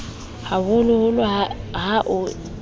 ha holoholo ha ho e